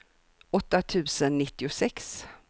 åtta tusen nittiosex